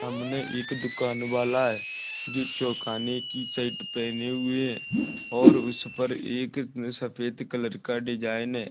सामने एक दुकान वाला है जो चोकाने की शर्ट पहने हुए है और उसपर एक सफ़ेद कलर का डिजाइन है।